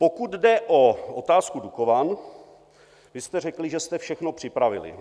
Pokud jde o otázku Dukovan, vy jste řekli, že jste všechno připravili.